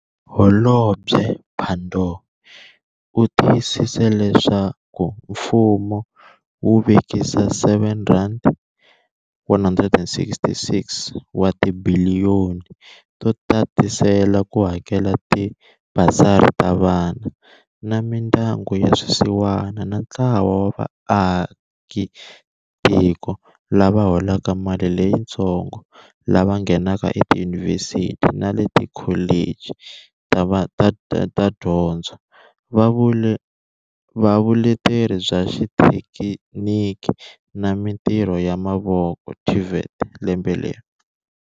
Holobye Pandor u tiyisise leswaku mfumo wu vekise R7, 166 wa mabiliyoni to tatisela ku hakela tibasari ta vana va mindyangu ya swisiwana na ntlawa wa vaaki tiko lava holaka mali leyitsongo lava nghenaka etiyunivhesiti na le ka tikholichi ta Dyondzo na Vule teri bya Xithekiniki na Mitirho ya Mavoko, TVET, lembe leri.